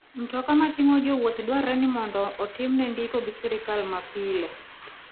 Mtoka mating'o jowuoth dwarore ni mondo otimne ndiko gi sirkal mapile.